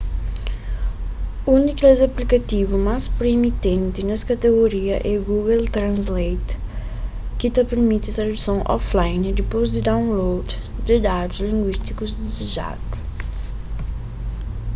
un di kes aplikativu más proeminenti nes katigoria é google translate ki ta pirmiti traduson offline dipôs di download di dadus linguístiku dizejadu